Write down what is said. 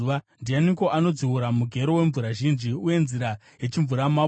Ndianiko anodziura mugero wemvura zhinji, nenzira yechimvuramabwe,